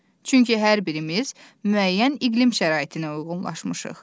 Çünki hər birimiz müəyyən iqlim şəraitinə uyğunlaşmışıq.